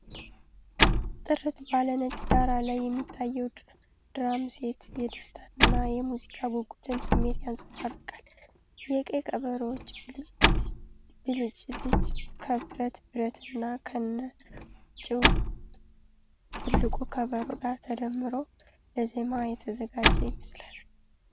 ጥርት ባለ ነጭ ዳራ ላይ የሚታየው ድራም ሴት፣ የደስታን እና የሙዚቃ ጉጉትን ስሜት ያንጸባርቃል። የቀይ ከበሮዎች ብልጭልጭ፣ ከብረት ብረት እና ከነጭው ትልቁ ከበሮ ጋር ተደምሮ፣ ለዜማ የተዘጋጀ ይመስላል።